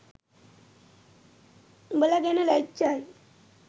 උඔල ගැන ලැජ්ජයි